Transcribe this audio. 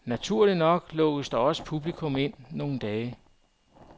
Naturligt nok lukkes der også publikum ind nogle dage.